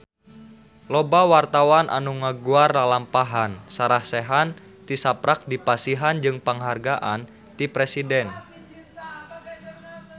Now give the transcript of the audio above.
Loba wartawan anu ngaguar lalampahan Sarah Sechan tisaprak dipasihan panghargaan ti Presiden